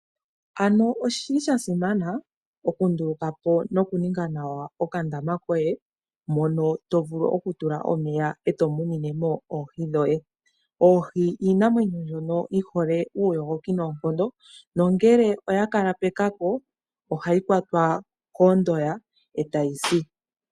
Ano oshili sha simana okunduluka po nokuninga nawa okandama koye mono to vulu okutula omeya e to munine mo oohi dhoye. Oohi iinamwenyo mbyono yi hole uuyogoki noonkondo nongele oya kala pekako ohayi kwatwa koondoya e ta yi si.